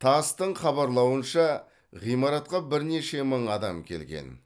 тасс тың хабарлауынша ғимаратқа бірнеше мың адам келген